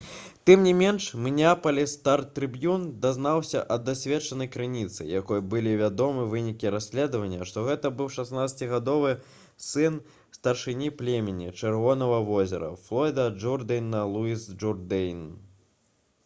тым не менш «мінеапаліс стар-трыбьюн» дазналася ад дасведчанай крыніцы якой былі вядомы вынікі расследавання што гэта быў 16-гадовы сын старшыні племені «чырвонага возера» флойда джурдэйна луіс джурдэйн